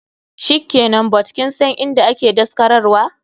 Shikenan, but kinsan inda ake daskarar wa?